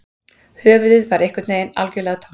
Höfuðið var einhvern veginn algjörlega tómt